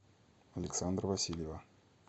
александра васильева